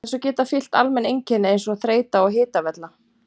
Þessu geta fylgt almenn einkenni eins og þreyta og hitavella.